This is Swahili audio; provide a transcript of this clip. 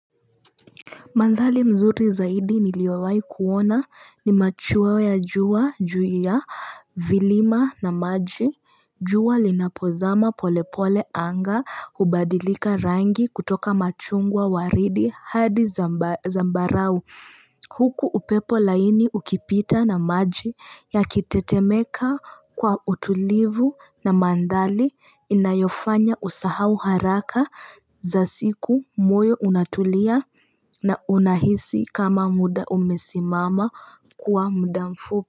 Mandhali mzuri zaidi niliowai kuona ni machuwa ya juwa, juya, vilima na maji, juwa linapozama polepole anga hubadilika rangi kutoka machungwa waridi hadi zambarau. Huku upepo laini ukipita na maji ya kitetemeka kwa utulivu na mandali inayofanya usahau haraka za siku moyo unatulia na unahisi kama muda umesimama kuwa muda mfupi.